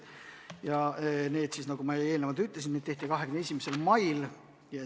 Ja need, nagu ma eelnevalt ütlesin, tehti 21. mail.